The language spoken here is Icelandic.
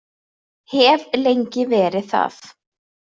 Hef lengi verið það.